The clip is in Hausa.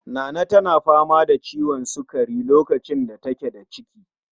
Nana tana fama da ciwon sukari lokacin da take da ciki